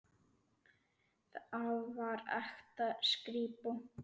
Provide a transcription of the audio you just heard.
Þar var ekta skrípó.